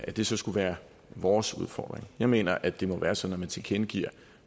det så skulle være vores udfordring jeg mener at det må være sådan at man tilkendegiver